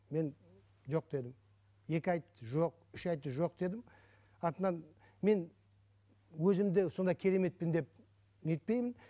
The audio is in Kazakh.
мен жоқ дедім екі айтты жоқ үш айтты жоқ дедім артынан мен өзімді сондай кереметпін деп не етпеймін